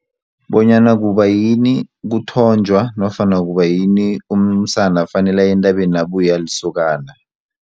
Bonyana kubayini kuthonjwa nofana kubayini umsana fanele aye entabeni abuye alisokana.